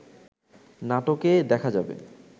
নাটকে দেখা যাবে